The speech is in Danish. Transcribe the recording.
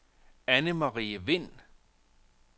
Annemarie Vind